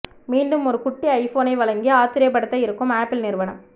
மீண்டும் ஒரு குட்டி ஐபோனை வழங்கி ஆச்சரியப்படுத்த இருக்கும் ஆப்பிள் நிறுவனம்